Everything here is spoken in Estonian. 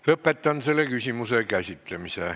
Lõpetan selle küsimuse käsitlemise.